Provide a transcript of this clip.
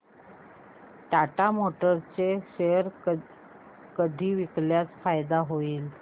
Tata Motors चे share कधी विकल्यास फायदा होईल